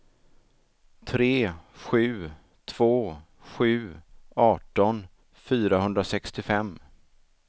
tre sju två sju arton fyrahundrasextiofem